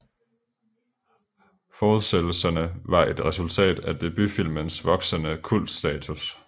Fortsættelserne var et resultat af debutfilmens voksende kultstatus